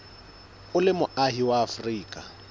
o le moahi wa afrika